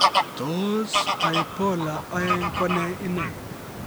Tos bipolar 2 ko nee inei?